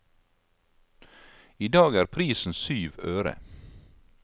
I dag er prisen syv øre.